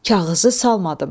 Kağızı salmadım.